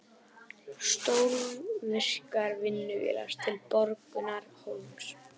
Stórvirkar vinnuvélar til Borgundarhólms